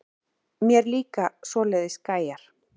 Mér líka svoleiðis gæjar.